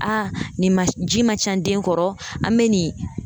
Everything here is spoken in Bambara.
Aa nin ma ji man ca n den kɔrɔ, an be nin